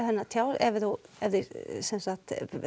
hérna ef þú ef þig sem sagt